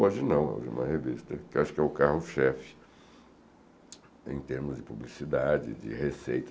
Hoje não, hoje é uma revista que eu acho que é o carro-chefe em termos de publicidade, de receita.